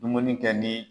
Dumuni kɛ ni